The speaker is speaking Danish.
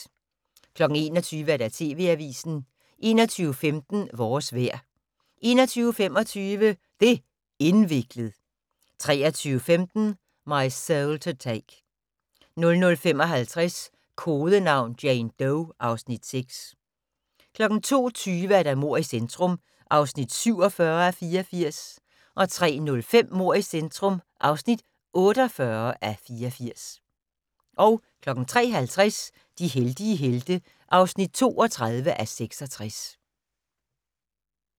21:00: TV Avisen 21:15: Vores vejr 21:25: Det' indviklet 23:15: My Soul to Take 00:55: Kodenavn: Jane Doe (Afs. 6) 02:20: Mord i centrum (47:84) 03:05: Mord i centrum (48:84) 03:50: De heldige helte (32:66)